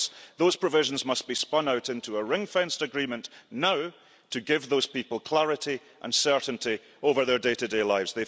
Those provisions must be spun out into a ring fenced agreement now, so as to give those people clarity and certainty over their day to day lives.